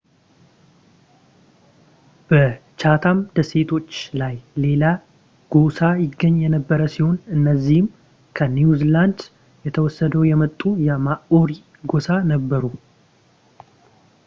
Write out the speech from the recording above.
በchatham ደሴቶች ላይ ሌላ ጎሳ ይገኝ የነበር ሲሆን እነዚህም ከኒውዚላንድ ተሰደው የመጡ የmaori ጎሳ ነበሩ